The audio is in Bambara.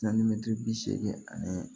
bi seegin ani